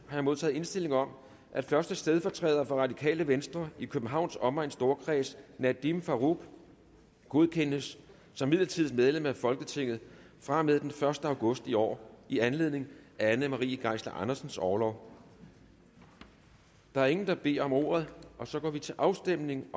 jeg modtaget indstilling om at første stedfortræder for radikale venstre i københavns omegns storkreds nadeem farooq godkendes som midlertidigt medlem af folketinget fra og med den første august i år i anledning af anne marie geisler andersens orlov der er ingen der beder om ordet og så går vi til afstemning